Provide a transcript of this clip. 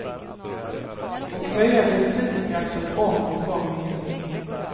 Och höja bensinskatten om och om igen.